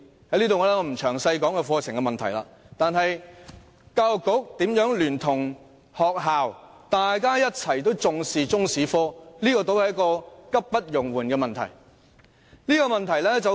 我不打算詳細談論課程綱要問題，但教育局如何聯同學校一起重視中史科，卻是急不容緩的問題。